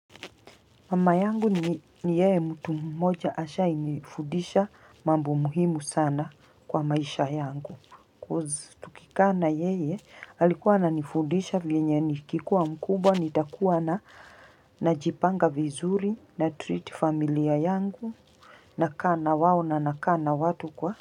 Mama yangu ni yeye mtu mmoja ashai nifundisha mambo muhimu sana kwa maisha yangu cause tukikaa na yeye alikuwa ananifudisha venye nikikuwa mkubwa nitakuwa na najipanga vizuri natreat familia yangu nakaa na wao na nakaa na watu kwa.